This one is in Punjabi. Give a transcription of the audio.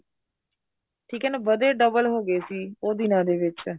ਠੀਕ ਏ ਨਾ ਵਧੇ double ਹੋ ਗਏ ਸੀ ਉਹ ਦਿਨਾ ਦੇ ਵਿੱਚ